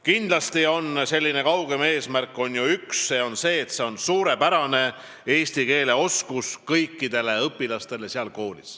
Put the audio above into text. Kindlasti on kaugem eesmärk ju üks, see on kõigi selle kooli õpilaste suurepärane eesti keele oskus.